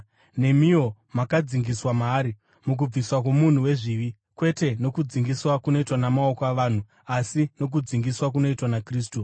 Nemiwo makadzingiswa maari, mukubviswa kwomunhu wezvivi, kwete nokudzingiswa kunoitwa namaoko avanhu, asi nokudzingiswa kunoitwa naKristu,